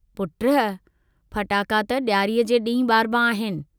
पुट, फटाका त डियारीअ जे डींहुं बारबा आहिनि!